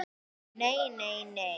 NEI, NEI, NEI.